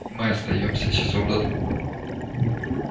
мы остаёмся часов до двух